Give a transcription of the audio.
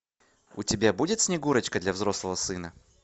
у тебя будет снегурочка для взрослого сына